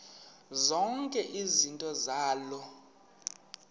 zonke izinto zaloo